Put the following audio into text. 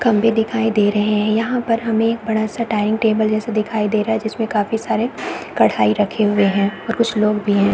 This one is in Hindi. खम्भे दिखाई दे रहे है यहाँ पर हमें एक बड़ा-सा डॉयनिंग टेबल जैसे दिखाई दे रहा है जिसमे काफी सारे कढ़ाई रखे हुए दिखाई दे रहे है और कुछ लोग भी है।